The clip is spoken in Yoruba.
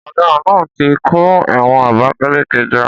Ọ̀daràn náà ti kó ẹ̀wọ̀n Abakaleke jọ